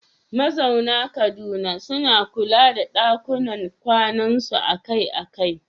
Mazauna Kaduna suna kula da ɗakunan kwanansu akai-akai